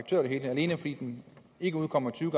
det hele fordi den ikke udkommer tyve